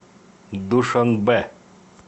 душанбе